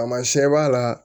Taamasiyɛn b'a la